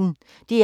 DR P1